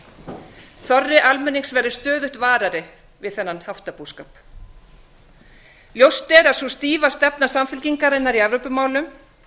landi þorri almennings verður stöðugt varðar við þennan haftabúskap ljóst er að sú stífa stefna samfylkingarinnar í evrópumálum